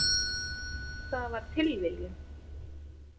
Það var tilviljun.